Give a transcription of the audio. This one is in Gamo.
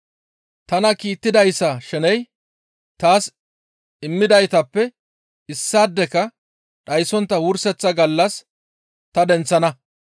Tana kiittidayssa sheney taas immidaytappe issaadeka dhayssontta wurseththa gallas ta denththana.